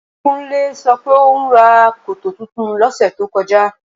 Kúnlé sọ pé òún ra koto tuntun lọ́sẹ̀ tó kọjá